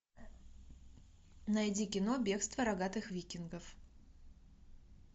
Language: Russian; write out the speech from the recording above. найди кино бегство рогатых викингов